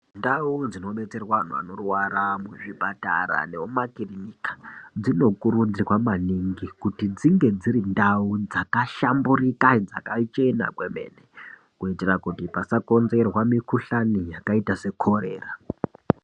Ndau dzinobetserwa antu anorwa muzvipatara nemumakirinika dzinokurudzirwa maningi kuti dzinge dziri ndau dzakahlamburika dzakachena kwemene. kuitira kuti pasakonzerwa mikuhlani yakaita sekorera.